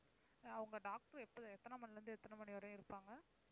அஹ் உங்க doctor எப்ப~ எத்தனை மணியிலிருந்து எத்தனை மணி வரையும் இருப்பாங்க?